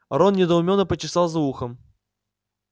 рон недоуменно почесал за ухом